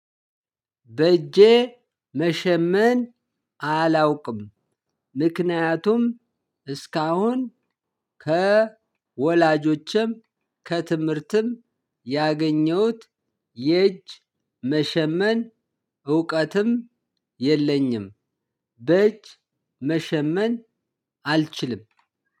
በእጄ መሸመን አላውቅም። ምክንያቱም እስካሁን ከወላጆችም ከትምህርትም ያገኘሁት የእጅ መሸመን እውቀትም የለኝም። በእጅ መሸመን አልችልም።